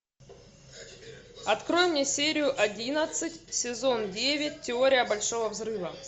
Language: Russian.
открой мне серию одиннадцать сезон девять теория большого взрыва